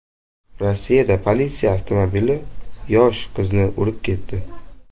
Rossiyada politsiya avtomobili yosh qizni urib ketdi.